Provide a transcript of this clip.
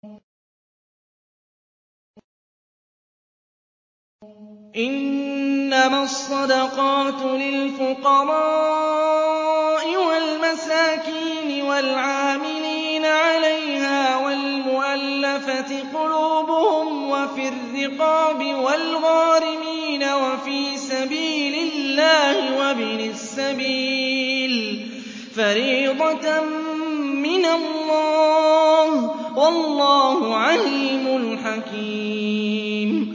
۞ إِنَّمَا الصَّدَقَاتُ لِلْفُقَرَاءِ وَالْمَسَاكِينِ وَالْعَامِلِينَ عَلَيْهَا وَالْمُؤَلَّفَةِ قُلُوبُهُمْ وَفِي الرِّقَابِ وَالْغَارِمِينَ وَفِي سَبِيلِ اللَّهِ وَابْنِ السَّبِيلِ ۖ فَرِيضَةً مِّنَ اللَّهِ ۗ وَاللَّهُ عَلِيمٌ حَكِيمٌ